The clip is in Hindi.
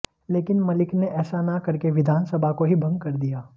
लेकिन मलिक ने ऐसा न करके विधानसभा को ही भंग कर दिया